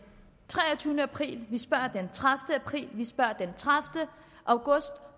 treogtyvende april vi spørger den tredivete april vi spørger den tredivete august